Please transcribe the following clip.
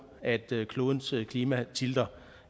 at klodens klima tilter